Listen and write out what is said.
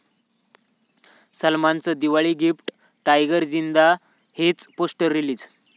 सलमानचं Diwali gift, 'Tiger Zinda हे'च poster release